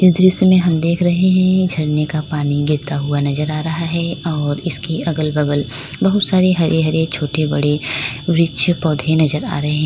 दृश्य हम देख रहे हैं झरने का पानी गिरता हुआ नजर आ रहा है और इसकी अगल बगल बहुत सारी हरे हरे छोटे बड़े वृक्ष पौधे नजर आ रहे हैं।